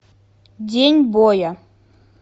день боя